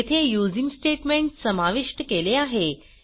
येथे using statement समाविष्ट केले आहे